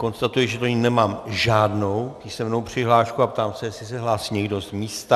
Konstatuji, že do ní nemám žádnou písemnou přihlášku, a ptám se, jestli se hlásí někdo z místa.